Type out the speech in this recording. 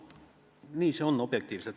Nii on see objektiivselt.